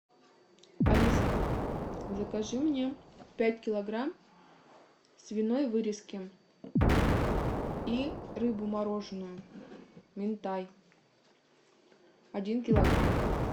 алиса закажи мне пять килограмм свиной вырезки и рыбу мороженную минтай один килограмм